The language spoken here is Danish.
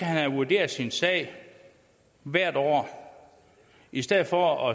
have vurderet sin sag hvert år i stedet for